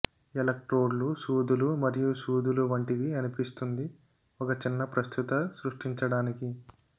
ఎలక్ట్రోడ్లు సూదులు మరియు సూదులు వంటివి అనిపిస్తుంది ఒక చిన్న ప్రస్తుత సృష్టించడానికి